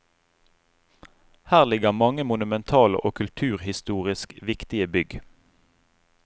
Her ligger mange monumentale og kulturhistorisk viktige bygg.